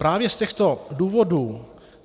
Právě z těchto důvodů